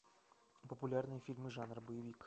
популярные фильмы жанра боевик